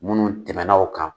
Munnu tɛmɛna o kan